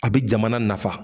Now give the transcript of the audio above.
A bɛ jamana nafa.